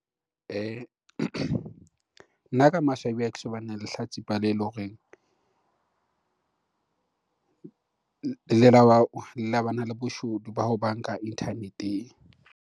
Nna ka maswabi ha ke so lehlatsipa lele horeng le la bana le boshodu ba ho banka internet-eng.